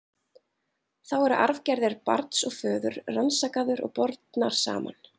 Þá eru arfgerðir barns og föður rannsakaður og bornar saman.